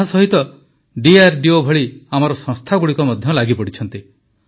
ଏହା ସହିତ ଡିଆରଡିଓ ଭଳି ଆମର ସଂସ୍ଥାଗୁଡ଼ିକ ମଧ୍ୟ ଲାଗିପଡ଼ିଛନ୍ତି